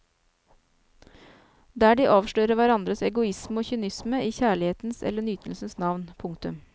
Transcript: Der de avslører hverandres egoisme og kynisme i kjærlighetens eller nytelsens navn. punktum